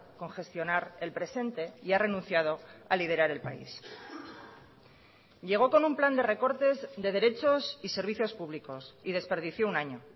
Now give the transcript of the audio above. con gestionar el presente y ha renunciado a liderar el país llegó con un plan de recortes de derechos y servicios públicos y desperdicio un año